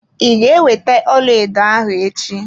I ga ewete ọlaedo ahụ echi?